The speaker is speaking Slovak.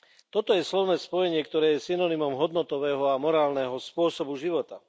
Toto je slovné spojenie, ktoré je synonymom hodnotového a morálneho spôsobu života.